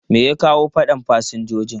Me ya kawo fadan fasinjojin?